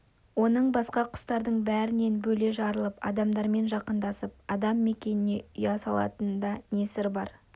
оның басқа құстардың бәрінен бөле жарылып адамдармен жақындасып адам мекеніне ұя салатынында не сыр бар